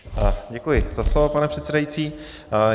Děkuji za slovo, pane předsedající.